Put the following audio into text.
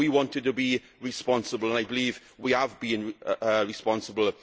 times. We wanted to be responsible, and I believe we have been responsible.